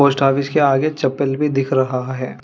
Post office के आगे चप्पल भी दिख रहा है।